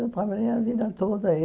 Eu trabalhei a vida toda.